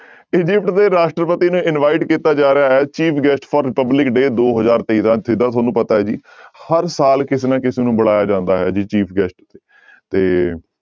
Egypt ਦੇ ਰਾਸ਼ਟਰਪਤੀ ਨੂੰ invite ਕੀਤਾ ਜਾ ਰਿਹਾ ਹੈ chief guest for republic day ਦੋ ਹਜ਼ਾਰ ਤੇਰਾਂ, ਜਿੱਦਾਂ ਤੁਹਾਨੂੰ ਪਤਾ ਹੈ ਜੀ ਹਰ ਸਾਲ ਕਿਸੇ ਨਾ ਕਿਸੇ ਨੂੰ ਬੁਲਾਇਆ ਜਾਂਦਾ as a chief guest ਤੇ